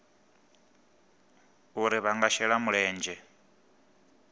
uri vha nga shela mulenzhe